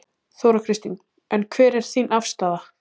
Þóra Kristín: En hver er þín afstaða?